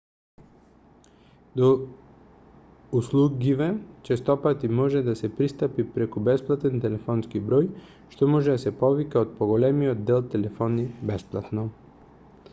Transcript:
до услугиве честопати може да се пристапи преку бесплатен телефонски број што може да се повика од поголемиот дел телефони бесплатно